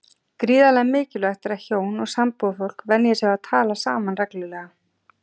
Gríðarlega mikilvægt er að hjón og sambúðarfólk venji sig á að tala saman reglulega.